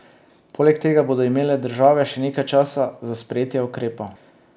Poleg tega bodo imele države še nekaj časa za sprejetje ukrepov.